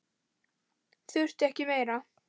Þurfti ekki meira.